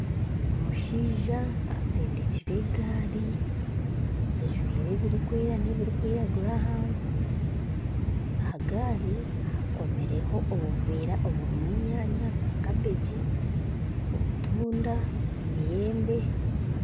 Omushaija atsindikire egaari ajwaire ebirikwera n'ebirikwiragura ahansi aha gaari bakomireho obuveera oburimu enyanya za cabbage obutunda ,emiyembe